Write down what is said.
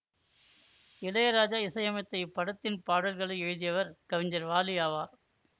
இளையராஜா இசையமைத்த இப்படத்தின் பாடல்களை எழுதியவர் கவிஞர் வாலி ஆவார்